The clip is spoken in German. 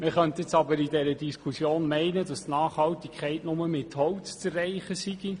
Man könnte jetzt aber in dieser Diskussion meinen, dass die Nachhaltigkeit nur mit Holz zu erreichen sei.